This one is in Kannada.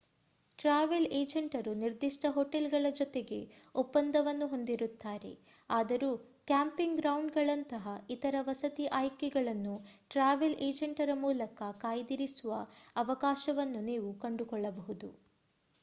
ಟ್ರಾವೆಲ್ ಏಜೆಂಟರು ನಿರ್ದಿಷ್ಟ ಹೋಟೆಲ್‌ಗಳ ಜೊತೆಗೆ ಒಪ್ಪಂದವನ್ನು ಹೊಂದಿರುತ್ತಾರೆ ಆದರೂ ಕ್ಯಾಂಪಿಂಗ್ ಗ್ರೌಂಡ್‌ಗಳಂತಹ ಇತರ ವಸತಿ ಆಯ್ಕೆಗಳನ್ನು ಟ್ರಾವೆಲ್‌ ಏಜೆಂಟರ ಮೂಲಕ ಕಾಯ್ದಿರಿಸುವ ಅವಕಾಶವನ್ನು ನೀವು ಕಂಡುಕೊಳ್ಳಬಹುದು